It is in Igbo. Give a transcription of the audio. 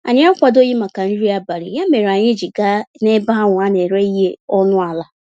Anyị akwadoghị màkà nri abalị, ya mèrè anyị ji gaa n'ebe ahụ a n'éré ihe ọnụ àlà